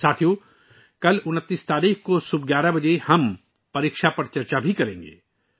ساتھیو، کل 29 تاریخ کو صبح 11 بجے ہم پریکشا پر چرچا بھی کریں گے